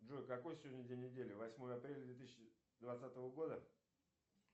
джой какой сегодня день недели восьмое апреля две тысячи двадцатого года